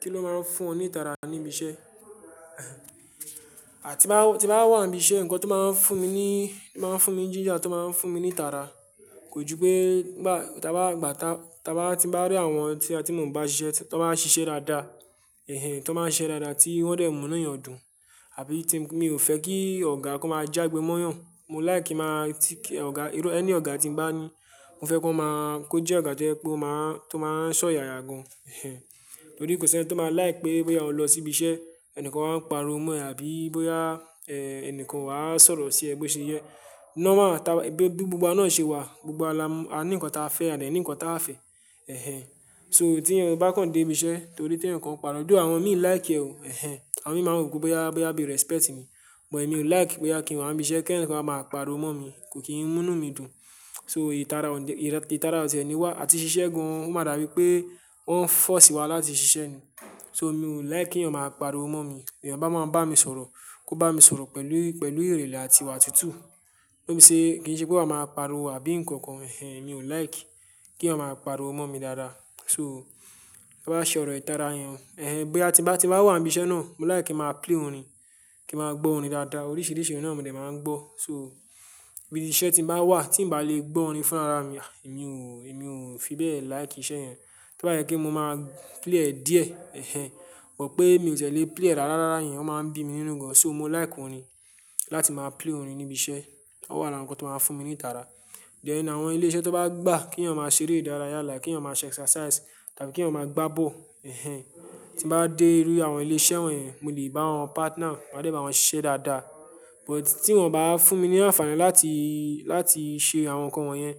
Kí ló máa ń fún ọ ní ìtara ní ibi iṣẹ́? À ti n bá ti bá n wà níbi iṣẹ́, ǹkan tó máa ń fún mi ní, máa ń fún mi jíjà, tó máa ń fún mi ní ìtara. Kò ju pé bá ti bá gbà tá, ti bá ti bá rí àwọn tí a tí mo ń bá ṣiṣẹ́, tí wọ́n bá ṣiṣẹ́ dáadáa, ẹ́hẹ́n, tí wọ́n bá ṣiṣẹ́ dáadáa tí wọ́n dẹ̀ mú inu eeyàn dùn. Àbí tí mi ò fẹ́ kí ọ̀gá kó máa já gbe mọ́yàn. Mo lìke kí n máa tí kí ọ̀gá, irú ẹni ọ̀gá tí ń bá ní, mo fẹ́ kó máa, kó jẹ́ ọ̀gá tó máa, tó máa n ṣọ̀yàyà gan. Torí kò sí ẹni tó máa lìke pé bóyá o lọ sí ibi iṣẹ́, ẹnìkan máa ń pariwo mọ́ ẹ àbí bóyá, ẹ́ẹ́, ẹnìkan wà n sọ̀rọ̀ sí ẹ bió ṣe yẹ. Norma máa ta gbogbo gbogbo náà ṣe wà. Gbogbo wa la n, a ní ǹkan táa fẹ́ àti a ní ǹkan táa fẹ́. Ẹ̀ẹ́hẹ́n. So tí ẹni bá kàn dé ibi iṣẹ́ torí tí ẹnìkan pariwo, though àwọn min láìkí ẹ o." Ẹ̀ẹ́hẹ́n. Àwọn min máa rò pé bóyá, bóyá bí respect ni, but mi ò like bóyá kí n wá ni ibi iṣẹ́ kí ẹnìkan máa pariwo mọ́ mi. Kò kì í mú inú mi dùn. So ìtara òde, ìtara ọ̀ti ẹ́ ni wà. Àti ṣiṣẹ́ gan, ó máa dàbí pé wọ́n fọ́sí wa láti ṣiṣẹ́ ni. So mi ò like kí ẹnìkan máa pariwo mọ́ mi. B'ẹyan bá máa bá mi sọ̀rọ̀, kó bá mi sọ̀rọ̀ pẹ̀lú, pẹ̀lú ìrìnlẹ̀ àti ìwà tútù. Pé mi ṣe, kí n ṣe pé wọ́n máa pariwo àbí nǹkan kan. Ẹ́hẹ́n, mi ò like kí wọn máa pariwo mọ́ mi rara. So to bá ṣe ọ̀rọ̀ ìtara yẹn. Ẹ̀ẹ́hẹ́n, bóyá ti bá ti wà ní ibi iṣẹ́ náà, mo like kí ma play orin, kín ma gbọ́ orin dáadáa. Oríṣiríṣi orin náà ni òde máa ń gbọ́. So ibi iṣẹ́ tí n bá wà tí ń bá lè gbọ́ orin fún ara mi, èmi ò, èmi ò fi bẹ́ẹ̀ like iṣẹ́ yẹn. Tí ó bá yẹ kí mo máa play díẹ̀. Ẹ̀ẹ́hẹ́n. But pé mi ò tiẹ̀ lé play rárá, rárá yẹn, o máa ń bí mi nínú gan. So mo like orin láti máa play orin ní ibi iṣẹ́. Ó wà lára ǹkan tó máa fún mi ní ìtara. Then àwọn ilé iṣẹ́ tó bá gbà k'eyan máa ṣeré ìdárayá like k'eyan máa ṣe exercise tàbí kí wọn máa gbá bọ́ọ̀lù. Ẹ̀ẹ́hẹ́n. Tí n bá dé rí àwọn ilé iṣẹ́ wọ̀nyẹn, mo lè bá wọn partner, máa dé bá wọn ṣiṣẹ́ dáadáa. But tí wọ́n o bá fún mi ní àǹfààní láti, láti ṣe àwọn nǹkan wọ̀nyẹn,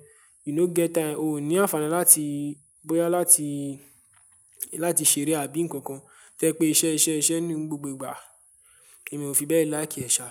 you no get time. O ò ní àǹfààní láti, bóyá láti, láti ṣeré àbí nǹkan kan. Tẹ́ pé iṣẹ́, iṣẹ́, iṣẹ́ ni gbogbo ìgbà. Èmi ò fi bẹ́ẹ̀ like ẹ̀ sha.